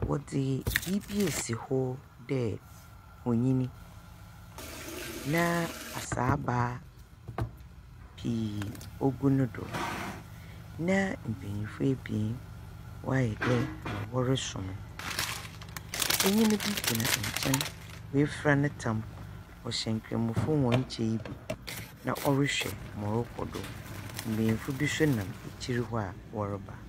Wɔdze biribi asi hɔ dɛ onyin, na asaaba pii ogu no do, na mbenyinfo ebien wɔayɛ dɛ ma wɔresom no. Benyin bi gyina nkyɛn. Woefura ne tam. Ɔhyɛ nkramofo hɔn kyɛw yi bi. Na ɔrehwɛ ma ɔrokɔdo. Mbenyinfo bi nso nam ekyir hɔ a wɔreba.